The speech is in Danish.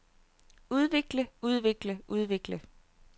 udvikle udvikle udvikle